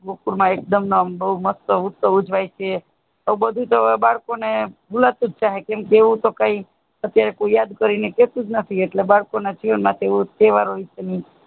ગોકુલ માં એકદમ આમ મસ્ત ઉત્સવ ઉજવાય છે એ બધું તો બાળકો ને ભૂલાતુજ જાય કેમ કહે તો કાય કોઈ યાદ કરીને કહેતુંજ નથી બાળકો ના જીવન માં એવું તહેવારો વિશે